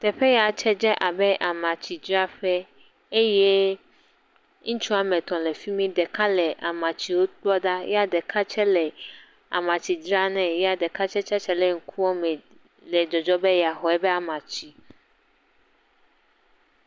Atikedzraƒe. Ŋutsu aɖe va atike ƒleƒe le atikedzraƒe. edo awu ʋi eye wodo trɔsa yibɔ. Atikedralawo te wodo awu ʋi hafi atike yiwo ke le stɔ a me.